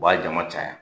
U b'a jama caya